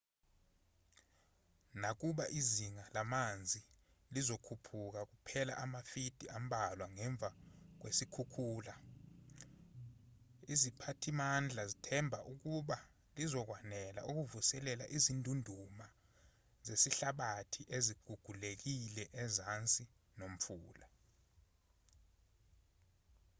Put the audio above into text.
nakuba izinga lamanzi lizokhuphuka kuphela amafidi ambalwa ngemva kwesikhukhula iziphathimandla zithemba ukuthi lizokwanela ukuvuselela izindunduma zesihlabathi ezigugulekile ezansi nomfula